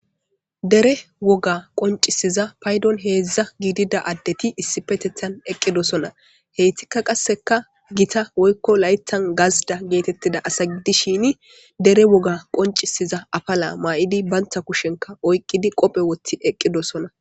Dere woga qoncisiza paydon heedzdza giidida addeti issipetethan eqqidosona. heytikka qasseka gita woykko laythan gazda geetettida asa gidi shini dere woga qoncisiza afala maa7idi bantha kushenka oyqqidi qophe wothti eqqidosona.